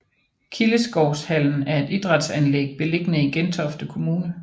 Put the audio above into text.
Kildeskovshallen er et idrætsanlæg beliggende i Gentofte Kommune